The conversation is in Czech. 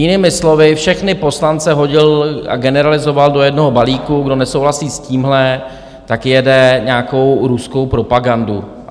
Jinými slovy všechny poslance hodil a generalizoval do jednoho balíku: kdo nesouhlasí s tímhle, tak jede nějakou ruskou propagandu.